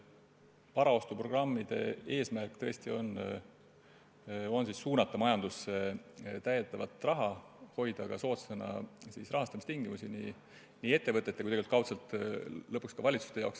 Tõesti, varaostuprogrammide eesmärk on suunata majandusse lisaraha, hoida rahastamistingimused soodsana nii ettevõtete kui lõpuks kaudselt ka valitsuste jaoks.